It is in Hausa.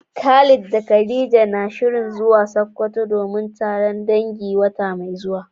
Khalid da khadija na shirin zuwa sokoto domin taron dangi wata mai zuwa.